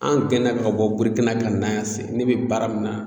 An gɛna ka bɔ burikina ka na yan se ne be baara min na